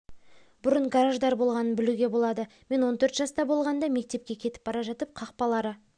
бұрын гараждар болғанын білуге болады мен он төрт жаста болғанда мектепке кетіп бара жатып қақпалары